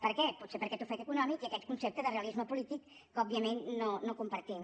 per què potser per aquest ofec econòmic i aquest concepte de realisme polític que òbviament no compartim